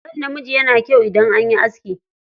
Kan namiji yana kyau idan anyi aski.